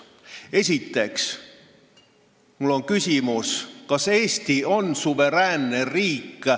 Esiteks, mul on küsimus, kas Eesti on suveräänne riik.